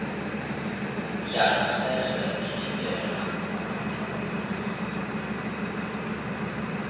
yangasese ithintela ukuphuphuma